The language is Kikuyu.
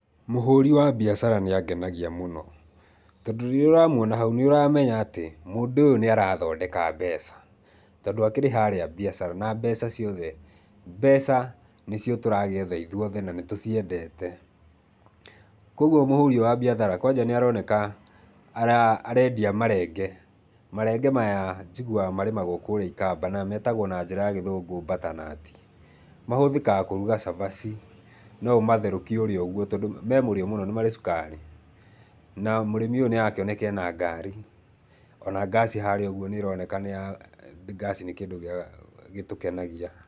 Mũhũri wa mbiacara nĩ angenagia mũno, tondũ rĩrĩa ũramuona hau nĩ ũramenya atĩ mũndũ ũyũ nĩ arathondeka mbeca, tondũ akĩrĩ harĩa mbiacara. Na mbeca ciothe, mbeca nĩcio tũragĩetha ithuĩ othe na nĩ tũciendete. Kwoguo mũhũri ũyũ wa mbiathara, kwanja nĩ aroneka arendia marenge. Marenge maya njiguaga marĩmagwo kũrĩa ikamba na metagwo na njĩra ya gĩthũngũ butternut. Mahũthĩkaga kũruga cabaci, no ũmatherũkie ũrĩe ũguo, tondũ me mũrĩo mũno, nĩ marĩ cukari. Na mũrĩmi ũyũ nĩ arakĩoneka ena ngari, o na ngaci harĩa ũguo nĩ ĩroneka nĩ ya, ngaci nĩ kĩndũ gĩtũkenagia.